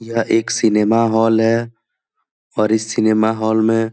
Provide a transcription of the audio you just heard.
यह एक cinema hall है ओर इस सिनेमा हॉल मे--